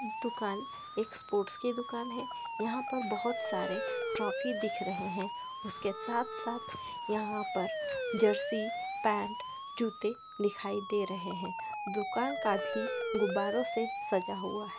यह दूकान एक स्पोर्ट्स की दूकान है यहाँ पर बहोत सारे ट्रॉफी दिख रहे है उसके साथ-साथ यहाँ पर जर्सी पेंट जूते दिखाई दे रहे है दूकान काफी गुब्बारों से सजा हुआ है।